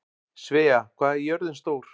Svea, hvað er jörðin stór?